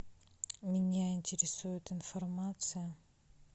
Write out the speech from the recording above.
меня интересует информация